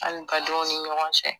Hali ka don o ni ɲɔgɔn cɛ.